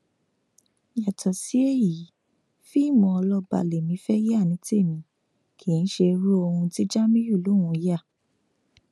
yàtọ sí èyí fíìmù ọlọba lẹmí fẹẹ yá ni tèmi kì í ṣe irú ohun tí jamiu lòún yà